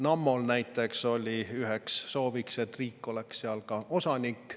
Nammol näiteks oli üheks sooviks, et ka riik oleks seal osanik.